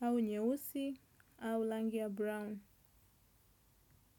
au nyeusi au rangi ya brown.